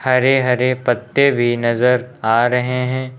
हरे हरे पत्ते भी नजर आ रहे हैं।